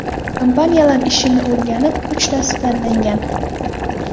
Kompaniyalar ishini o‘rganib, uchtasi tanlangan.